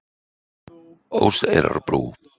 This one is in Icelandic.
Óseyrarbrú